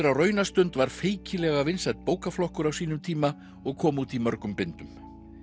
á raunastund var feikilega vinsæll bókaflokkur á sínum tíma og kom út í mörgum bindum